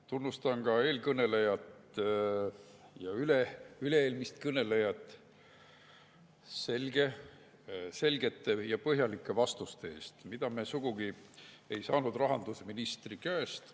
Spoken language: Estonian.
Tunnustan ka eelkõnelejat ja üle-eelmist kõnelejat selgete ja põhjalike vastuste eest, mida me sugugi ei saanud rahandusministri käest.